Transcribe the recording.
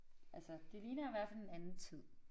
Altså det ligner i hvert fald en anden tid